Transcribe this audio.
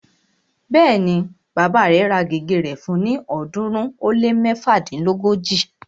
Bẹ́ẹ̀ni, bàbá rẹ̀ ra gègé rẹ̀ fún ni ọ̀ọ́dúnrún ó lé méfadínlógóji